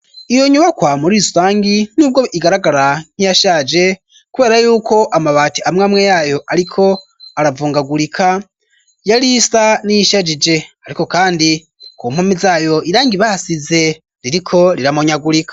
Iyo nyubakwa muri rusangi nibwo igaragara nk'iyashaje kubera yuko amabati amwe amwe yayo ariko aravungagurika yari isa n'iyishajije ariko kandi ku mpumi zayo irangi ibahasize ririko riramonyagurika.